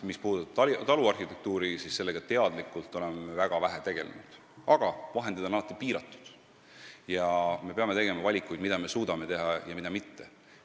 Mis puudutab taluarhitektuuri, siis sellega oleme me teadlikult väga vähe tegelenud – vahendid on alati piiratud ja me peame tegema valikuid, mida me suudame teha ja mida mitte.